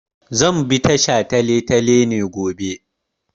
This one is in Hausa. Zan bi ta shataletale ne gobe.